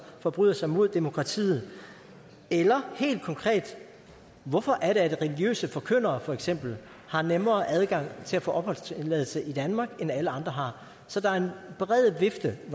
forbryder sig mod demokratiet eller helt konkret hvorfor er det religiøse forkyndere for eksempel har nemmere adgang til at få opholdstilladelse i danmark end alle andre har så der er en bred vifte af